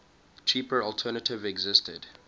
cheaper alternative existed